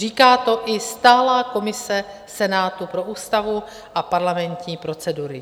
Říká to i stálá komise Senátu pro ústavu a parlamentní procedury.